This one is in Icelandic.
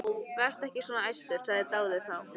Vertu ekki svona æstur, sagði Daði þá.